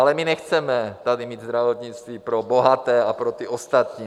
Ale my nechceme tady mít zdravotnictví pro bohaté a pro ty ostatní.